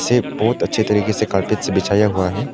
ये बहुत अच्छे तरीके से कार्पेट से बिछाया हुआ है।